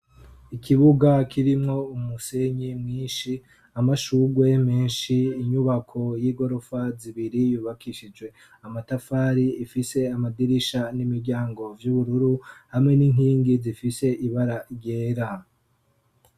ikibuga kirimwo umusenyi mwinshi amashugwe menshi inyubako y'igorofa zibiri yubakishije amatafari ifise amadirisha n'imiryango vy'ubururu hamwe n'inkingi zifise ibara ryera